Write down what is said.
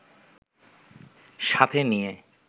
সাথে নিয়ে